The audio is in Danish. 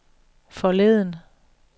forleden